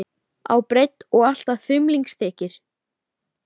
Fiskvinnsla er mikilvæg að þrennu leyti.